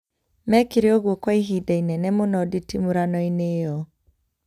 Mekĩre ũguo kwa ihinda inene mũno nditimũrano-inĩ ĩyo